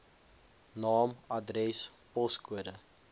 naam adres poskode